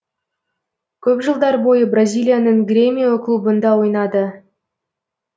көп жылдар бойы бразилияның гремио клубында ойнады